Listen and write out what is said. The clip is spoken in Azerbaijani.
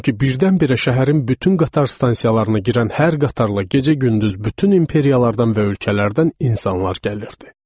Çünki birdən-birə şəhərin bütün qatar stansiyalarına girən hər qatarla gecə-gündüz bütün imperiyalardan və ölkələrdən insanlar gəlirdi.